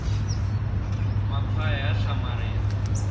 makhwaya ya hlamaria